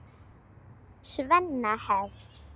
Svenna hefst.